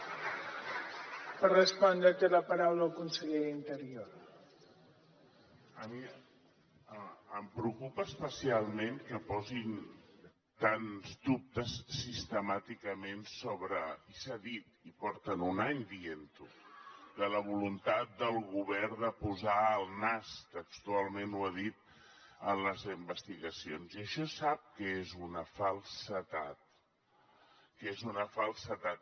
a mi em preocupa especialment que posin tants dubtes sistemàticament sobre i s’ha dit i porten un any dient ho la voluntat del govern de posar el nas textualment ho ha dit en les investigacions i això sap que és una falsedat que és una falsedat